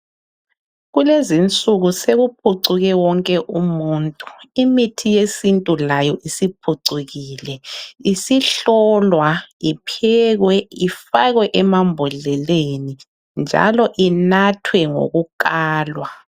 Kulezinsuku sekuphucuke wonke umuntu imithi yesintu layo isiphucukile isihlolwa iphekwe ifakwe emambodleleni njalo inathwe ngokukalwa.